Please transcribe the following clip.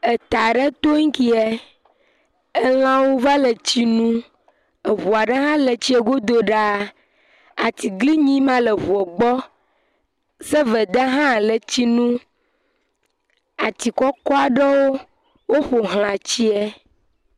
Eta ɖe to ŋkee, elã va le tsi nom, eŋu aɖe hã le tsie godo ɖaa, atiglinyi ma le ŋua gbɔ, sɔveda hã le tsi nom, ati kɔkɔ aɖewo woƒoxla tsie.